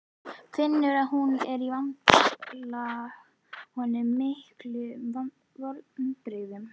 Finnur að hún er að valda honum miklum vonbrigðum.